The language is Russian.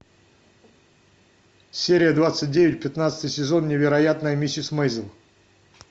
серия двадцать девять пятнадцатый сезон невероятная миссис мейзел